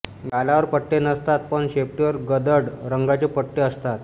गालावर पट्टे नसतात पण शेपटीवर गडद रंगाचे पट्टे असतात